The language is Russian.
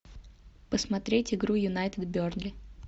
посмотреть игру юнайтед бернли